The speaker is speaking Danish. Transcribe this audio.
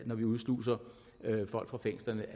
når vi udsluser folk fra fængslerne